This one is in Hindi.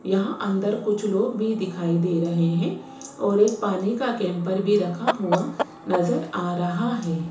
यहां अंदर कुछ लोग भी दिखाई दे रहे हैं और एक पानी का कैंपर भी रखा हुआ नजर आ रहा है।